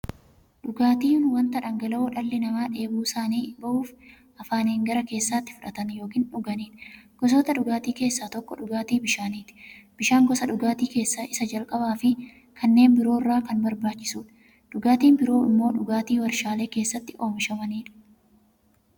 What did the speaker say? Dhugaatiin wanta dhangala'oo dhalli namaa dheebuu isaanii ba'uuf, afaaniin gara keessaatti fudhatan yookiin dhuganiidha. Gosoota dhugaatii keessaa tokko dhugaatii bishaaniti. Bishaan gosa dhugaatii keessaa isa jalqabaafi kanneen biroo irra kan barbaachisuudha. Dhugaatiin biroo immoo dhugaatii waarshalee keessatti oomishamaniidha.